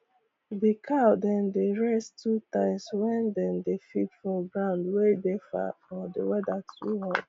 d cow dem dey rest two times wen dem dey feed for ground wey dey far or d weather too hot